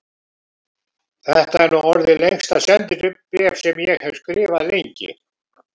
Þetta er nú orðið lengsta sendibréf sem ég hef skrifað lengi.